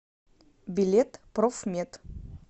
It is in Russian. билет профмед